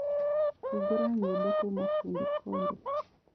Hĩngũra nyĩmbo kũma fundi konde